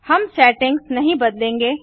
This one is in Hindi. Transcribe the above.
हम सेटिंग्स नहीं बदलेंगे